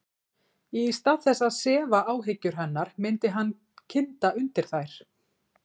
Í stað þess að sefa áhyggjur hennar myndi hann kynda undir þær.